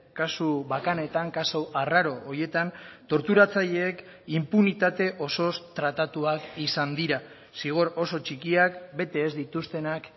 kasu bakanetan kasu arraro horietan torturatzaileek inpunitate osoz tratatuak izan dira zigor oso txikiak bete ez dituztenak